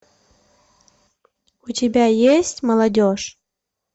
у тебя есть молодежь